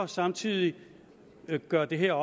samtidig gør det her